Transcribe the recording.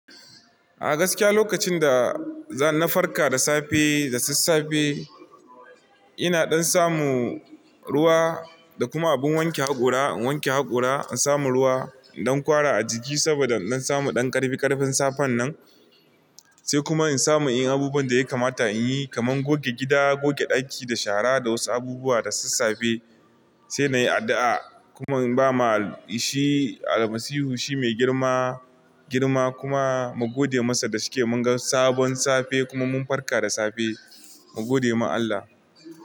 A gaskiya lokacin da na farka da safe da sassafe ina dan samu ruwa da kuma abun wanke hakora. In wanke hakora in samu ruwa in dankwara a jiki saboda in samu ɗan ƙarfi ƙarfin safen nan. Sai kuma in samu in yi abubuwan da ya kamata in yi kaman goge gida, goge ɗaki da shara da wasu abubuwa da sassafe. Sai na yi addu'a kuma ba ma shi Almasihu shi mai girma, girma kuma mu gode masa da shike mun ga sabon safe kuma mun farka da safe mu gode ma Allah.